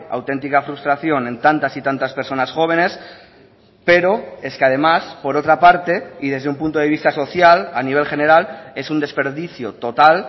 auténtica frustración en tantas y tantas personas jóvenes pero es que además por otra parte y desde un punto de vista social a nivel general es un desperdicio total